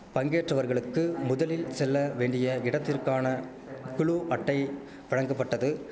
பங்கேற்றவர்களுக்கு முதலில் செல்ல வெண்டிய இடத்திற்கான குளு அட்டை வழங்கப்பட்டது